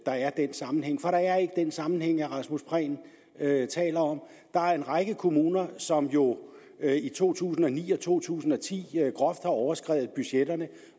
der er den sammenhæng for der er ikke den sammenhæng herre rasmus prehn taler om der er en række kommuner som jo i to tusind og ni og to tusind og ti groft har overskredet budgetterne